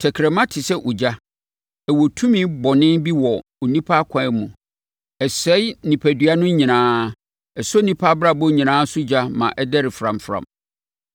Tɛkrɛma te sɛ ogya. Ɛwɔ tumi bɔne bi wɔ onipa akwaa mu. Ɛsɛe onipadua no nyinaa; ɛsɔ onipa abrabɔ nyinaa so ogya ma ɛdɛre framfram.